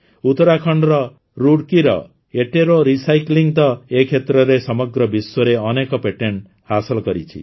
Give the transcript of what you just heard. ଉତରାଖଣ୍ଡର ରୁଡ଼କିର ଏଟେରୋ ରିସାଇକ୍ଲିଂ ତ ଏ କ୍ଷେତ୍ରରେ ସମଗ୍ର ବିଶ୍ୱରେ ଅନେକ ପେଟେଣ୍ଡ୍ ହାସଲ କରିଛି